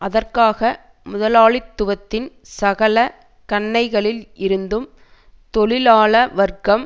அதற்காக முதலாளித்துவத்தின் சகல கன்னைகளில் இருந்தும் தொழிலாள வர்க்கம்